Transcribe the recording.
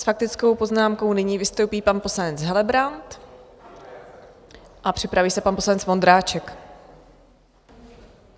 S faktickou poznámkou nyní vystoupí pan poslanec Helebrant a připraví se pan poslanec Vondráček.